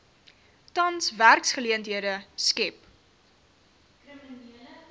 tans werksgeleenthede skep